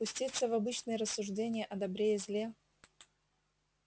пуститься в обычные рассуждения о добре и зле